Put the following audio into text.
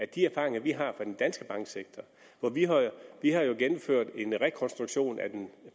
de erfaringer vi har fra den danske banksektor vi har jo gennemført en rekonstruktion af den